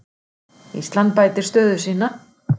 Ísland bætir stöðu sína